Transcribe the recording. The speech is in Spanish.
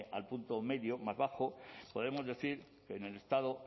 al punto medio más bajo podemos decir que en el estado